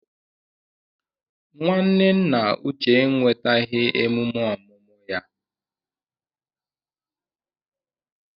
Nwanne nna Uche enwetaghị emume ọmụmụ ya.